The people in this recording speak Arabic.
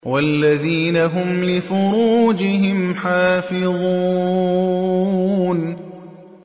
وَالَّذِينَ هُمْ لِفُرُوجِهِمْ حَافِظُونَ